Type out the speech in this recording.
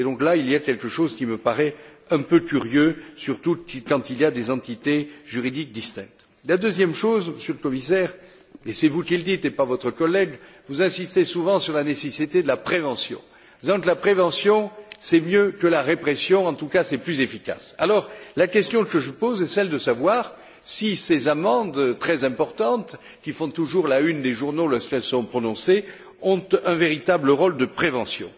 Et donc là, il y a quelque chose qui me paraît un peu curieux, surtout quand il y a des entités juridiques distinctes. La deuxième chose, Monsieur le Commissaire, et c'est vous qui le dites et non votre collègue, vous insistez souvent sur la nécessité de la prévention, disant que la prévention, c'est mieux que la répression et en tout cas plus efficace. Alors, la question que je pose est celle de savoir si ces amendes très importantes, qui font toujours la une des journaux lorsqu'elles sont prononcées, ont un véritable rôle de prévention.